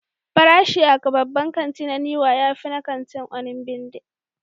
Farashin a babban kanti na Niwa ya fi na kantin Onigbinde.